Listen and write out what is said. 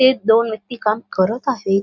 इथे दोन व्यक्ती काम करत आहेत.